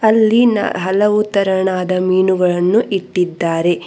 ಅಲ್ಲಿ ನಾ ಹಲವು ತರಣದ ಮೀನುಗಳನ್ನು ಇಟ್ಟಿದ್ದಾರೆ.